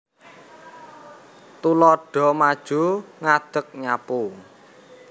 Tuladha maju ngadeg nyapu